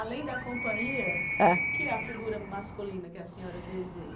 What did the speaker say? Além da companhia, ãh, o que é a figura masculina que a senhora deseja?